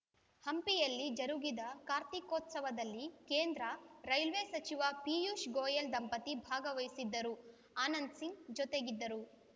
ಹಂಪಿಯಲ್ಲಿ ಜರುಗಿದ ಕಾರ್ತೀಕೋತ್ಸವದಲ್ಲಿ ಕೇಂದ್ರ ರೈಲ್ವೆ ಸಚಿವ ಪಿಯೂಷ್‌ ಗೋಯಲ್‌ ದಂಪತಿ ಭಾಗವಹಿಸಿದ್ದರು ಆನಂದಸಿಂಗ್‌ ಜೊತೆಗಿದ್ದರು